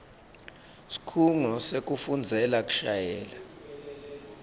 sikhungo sekufundzela kushayela